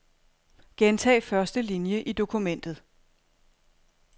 Gentag første linie i dokumentet.